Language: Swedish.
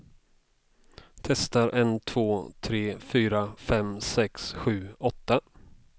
Testar en två tre fyra fem sex sju åtta.